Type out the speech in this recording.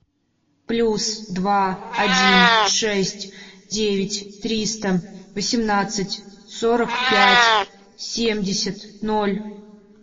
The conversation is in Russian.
плюс два один шесть девять триста восемнадцать сорок пять семьдесят ноль